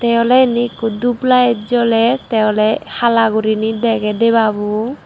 ye oley indi ikko dup layet joler te oley hala gurinei dege debabuo.